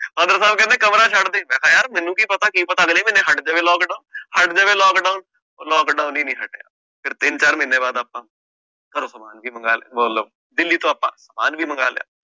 ਸਾਹਬ ਕਹਿੰਦੇ ਕਮਰਾ ਛੱਡ ਦੇ ਮੈਂ ਕਿਹਾ ਯਾਰ ਮੈਨੂੰ ਕੀ ਪਤਾ ਕੀ ਪਤਾ ਅਗਲੇ ਮਹੀਨੇ ਹਟ ਜਾਵੇ lockdown ਹਟ ਜਾਵੇ lockdown ਉਹ lockdown ਹੀ ਨੀ ਹਟਿਆ ਫਿਰ ਤਿੰਨ ਚਾਰ ਮਹੀਨੇ ਬਾਅਦ ਆਪਾਂ ਘਰੋਂ ਦਿੱਲੀ ਤੋਂ ਆਪਾਂ ਵੀ ਮੰਗਵਾ ਲਿਆ।